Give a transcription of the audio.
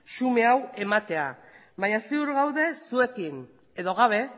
xume hau ematea baina ziur gaude zuekin edo gabe